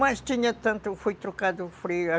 Mas tinha tanto, foi trocado o Frei.